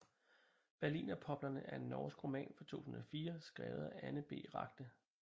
Berlinerpoplerne er en norsk roman fra 2004 skrevet af Anne B